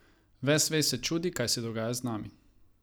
Ves svet se čudi, kaj se dogaja z nami.